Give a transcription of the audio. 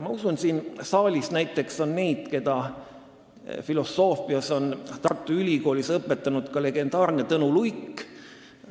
Ma usun, et siin saalis on neid, kellele filosoofiat Tartu Ülikoolis õpetas legendaarne Tõnu Luik.